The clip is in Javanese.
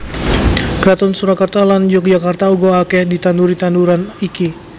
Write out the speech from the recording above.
Kraton Surakarta lan Yogyakarta uga akeh ditanduri tanduran iki